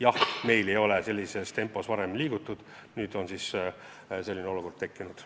Jah, meil ei ole sellisel moel varem liigutud, nüüd aga on säärane olukord tekkinud.